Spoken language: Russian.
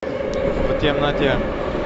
в темноте